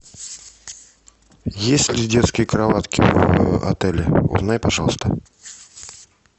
есть ли детские кроватки в отеле узнай пожалуйста